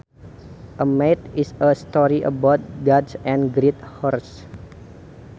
A myth is a story about gods and great heroes